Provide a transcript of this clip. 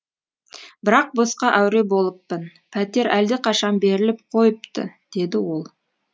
бірақ босқа әуре болыппын пәтер әлдеқашан беріліп қойыпты деді ол